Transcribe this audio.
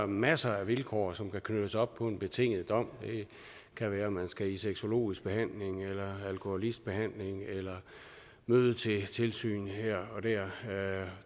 masser af vilkår som kan knyttes op på en betinget dom det kan være man skal i sexologisk behandling eller alkoholbehandling eller møde til tilsyn her og der